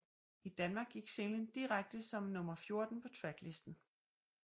I Danmark gik singlen direkte ind som nummer 14 på tracklisten